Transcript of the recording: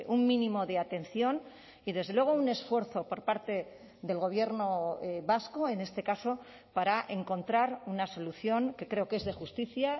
un mínimo de atención y desde luego un esfuerzo por parte del gobierno vasco en este caso para encontrar una solución que creo que es de justicia